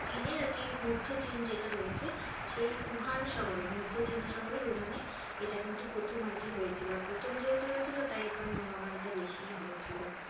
চীনে আরকি মধ্যচীন যেটা রয়েছে সেই উহান শহরে মধ্য চীনা শহরের উহানে এটা কিন্তু প্রথম আরকি হয়েছিলো আর প্রথম যেহেতু হয়েছিলো তাই ওখানে মহামারীটা বেশিই হয়েছিলো।